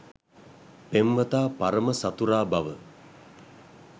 පෙම්වතා පරම සතුරා බව